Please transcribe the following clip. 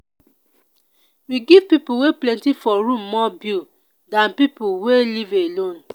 we give pipo wey plenty for room more bill dan pipo wey live alone.